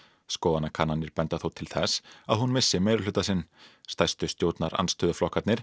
skoðanakannanir benda þó til þess að hún missi meirihluta sinn stærstu stjórnarandstöðuflokkarnir